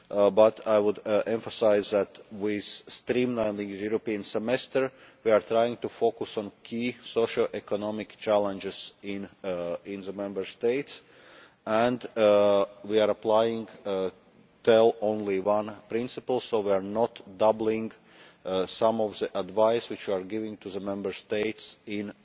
But I would emphasise that we are streamlining the European Semester, we are trying to focus on key social economic challenges in the Member States and we are applying the ʻtell only onceʼ principle, so we are not doubling some of the advice that we are giving to the Member States in